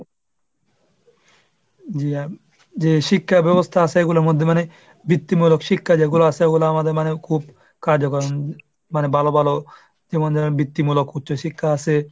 যে আহ যে শিক্ষা ব্যবস্থা আসে এগুলোর মধ্যে মানে বৃত্তিমূলক শিক্ষা যেগুলো আসে ওগুলো আমাদের মানে খুব কার্যকর। উম মানে ভালো ভালো যেমন বৃত্তিমূলক উচ্চশিক্ষা আসে,